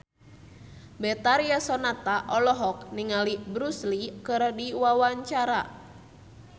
Betharia Sonata olohok ningali Bruce Lee keur diwawancara